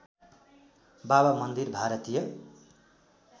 बाबा मन्दिर भारतीय